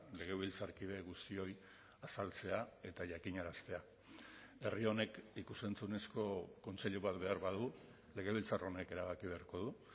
legebiltzarkide guztioi azaltzea eta jakinaraztea herri honek ikus entzunezko kontseilu bat behar badu legebiltzar honek erabaki beharko du